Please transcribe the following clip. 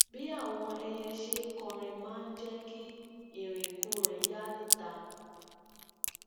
bí àwọn ẹyẹ ṣe ń kọrin máa ń jé kí irinkurin ya nita